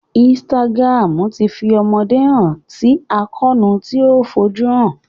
Instagram tí fi àwọn ọmọdé hàn si àkóónú tí o fojuhan.